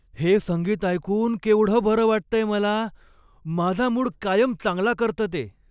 हे संगीत ऐकून केवढं बरं वाटतंय मला. माझा मूड कायम चांगला करतं ते.